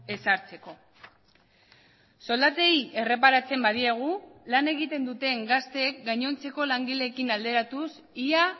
ezartzeko soldatei erreparatzen badiegu lan egiten duten gazteek gainontzeko langileekin alderatuz ia